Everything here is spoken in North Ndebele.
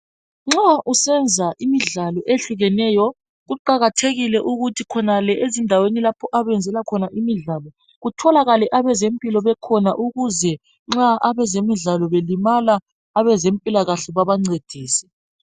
Nxa usenza imidlalo ehlukeneyo, kuqakathekile ukuthi khonale ezindaweni lapho abenzela khona imidlalo, kutholakale abezempilo bekhona ukuze nxa abezemidlalo belimala, abezempilakahle babancedise.